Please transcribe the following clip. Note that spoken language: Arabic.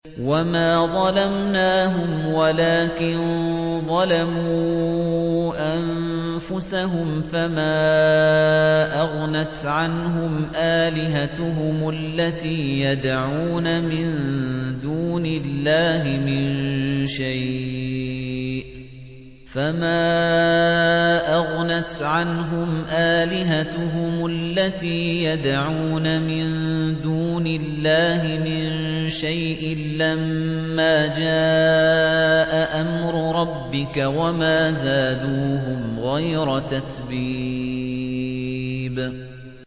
وَمَا ظَلَمْنَاهُمْ وَلَٰكِن ظَلَمُوا أَنفُسَهُمْ ۖ فَمَا أَغْنَتْ عَنْهُمْ آلِهَتُهُمُ الَّتِي يَدْعُونَ مِن دُونِ اللَّهِ مِن شَيْءٍ لَّمَّا جَاءَ أَمْرُ رَبِّكَ ۖ وَمَا زَادُوهُمْ غَيْرَ تَتْبِيبٍ